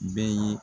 Bɛɛ ye